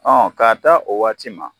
k'a taa o waati ma